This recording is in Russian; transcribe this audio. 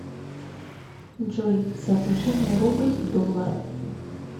джой соотношение рубль доллар